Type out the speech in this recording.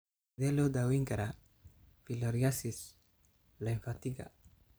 Sidee loo daweyn karaa filariasis lymphatiga?